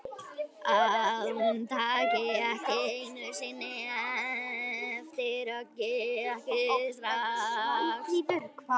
Að hún taki ekki einu sinni eftir höggi, ekki strax.